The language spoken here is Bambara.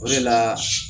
O de la